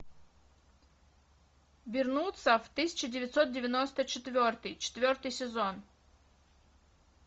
вернуться в тысяча девятьсот девяносто четвертый четвертый сезон